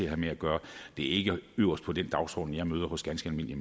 have med at gøre det er ikke øverst på den dagsorden jeg møder hos ganske almindelige